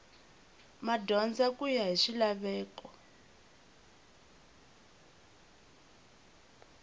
madyondza ku ya hi swilaveko